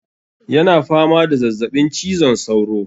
Yana fama da zazzabin cizon sauro.